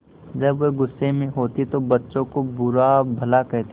जब वह गुस्से में होते तो बच्चों को बुरा भला कहते